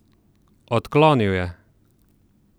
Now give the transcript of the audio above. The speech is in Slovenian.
Odklonil je.